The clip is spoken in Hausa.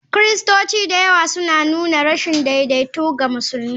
Kiristoci da yawa suna nuna rashin daidaito ga musulmi.